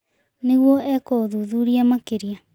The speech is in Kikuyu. Nĩguo ekwo ũthuthuria makĩria